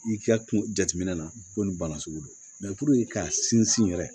I ka kun jateminɛ na ko nin bana sugu don k'a sinsin yɛrɛ